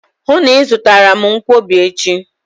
Hụụ na Ị zụtara m nkwobi echi!